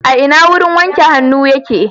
A ina wurin wanke hannu yake.